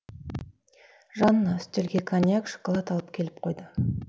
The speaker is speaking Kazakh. жанна үстелге коньяк шоколад алып келіп қойды